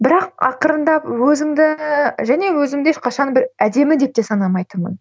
бірақ ақырындап өзіңді және өзімді ешқашан бір әдемі деп те санамайтынмын